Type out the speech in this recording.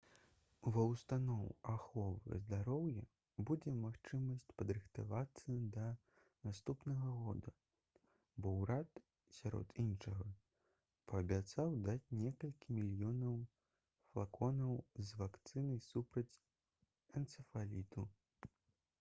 ва ўстаноў аховы здароўя будзе магчымасць падрыхтавацца да наступнага года бо ўрад сярод іншага паабяцаў даць некалькі мільёнаў флаконаў з вакцынай супраць энцэфаліту